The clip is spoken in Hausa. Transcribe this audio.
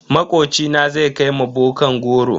Makocina zai kai ma bokan goro.